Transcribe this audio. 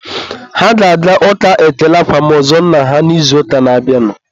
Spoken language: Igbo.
Ha ga-aga ụka ekele akwamozu nna ha n'izuụka na-abịanụ